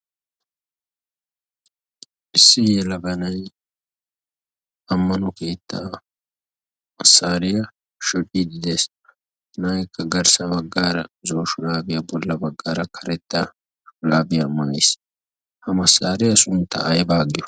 Issi yelaga nay ammano keettaa massariyaa shoccide dees. Ha naykka garssa baggaara zo'o shurabbiyaa bolla baggaara karettaa shurabbiya maayyiis. Ha massariya sunttaa aybba giyo?